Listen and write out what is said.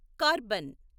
carbon